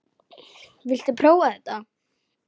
Viltu prófa þetta?